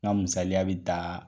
N ga misaliya bi taa